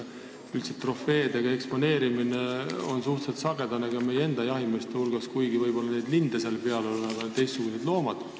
Üldiselt on trofeede eksponeerimine suhteliselt sagedane ka meie enda jahimeeste hulgas, kuigi võib-olla linde nende piltide peal ei ole, küll on seal teistsugused loomad.